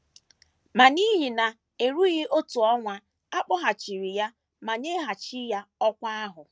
Ma n’ihe na - erughị otu ọnwa a kpọghachiri ya ma nyeghachi ya ọkwá ahụ.